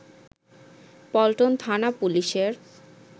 পল্টন থানা পুলিশের